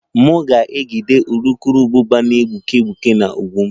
M ga-ejide urukurubụba na-egbuke egbuke na ụgbụ m